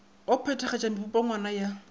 wa go phethagatpa mepongwana ya